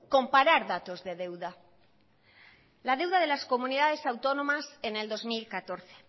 comparar datos de deuda la deuda de las comunidades autónomas en el dos mil catorce